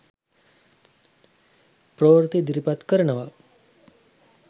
ප්‍රවෘත්ති ඉදිරිපත් කරනවා.